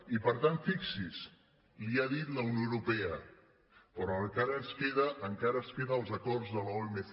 i per tant fixi’s li ho ha dit la unió europea però encara ens queda els acords de l’omc